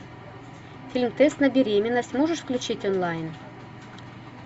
фильм тест на беременность можешь включить онлайн